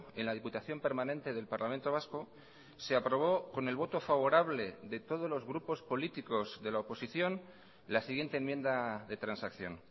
en la diputación permanente del parlamento vasco se aprobó con el voto favorable de todos los grupos políticos de la oposición la siguiente enmienda de transacción